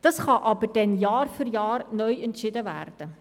Darüber kann aber Jahr für Jahr neu entschieden werden.